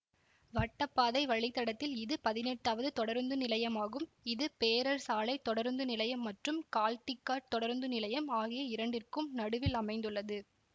வட்டப்பாதை வழித்தடத்தில் இது பதினெட்டாவது தொடருந்துநிலையமாகும் இது பேரர் சாலை தொடருந்து நிலையம் மற்றும் கால்டிகாட் தொடருந்து நிலையம் ஆகிய இரண்டிற்கும் நடுவில் அமைந்துள்ளது